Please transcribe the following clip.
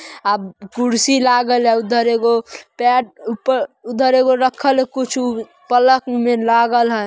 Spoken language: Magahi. आ कुर्सी लागल है। उधर एगो पैर ऊपर उधर रखल है कुछु पलंग में लागल है।